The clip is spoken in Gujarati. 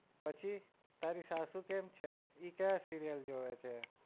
પછી તારી સાસુ કેમ છે ઈ કયા serial જોવે છે?